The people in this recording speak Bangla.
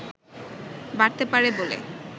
বাড়তে পারে বলে